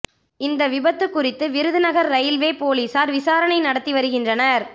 இந்த விபத்து குறித்து விருதுநகர் ரயில்வே போலீசார் விசாரணை நடத்தி வருகின்றனர்